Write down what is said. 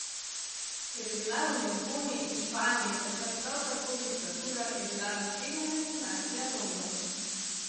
Ker je bila v Lizboni in Španiji takrat prav tako diktatura, je bila naslednja destinacija London.